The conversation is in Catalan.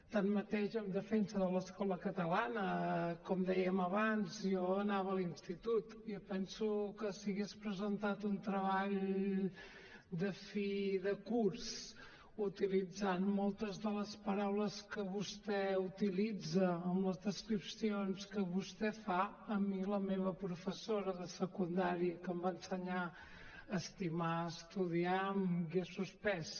tanmateix en defensa de l’escola catalana com dèiem abans jo anava a l’institut i jo penso que si hagués presentat un treball de fi de curs utilitzant moltes de les paraules que vostè utilitza amb les descripcions que vostè fa a mi la meva professora de secundària que em va ensenyar a estimar a estudiar m’hagués suspès